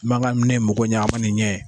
Mankan ne mago ɲɛ , a ma nin ɲɛ.